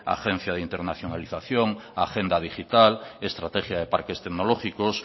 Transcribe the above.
agencia de internacionalización agenda digital estrategia de parques tecnológicos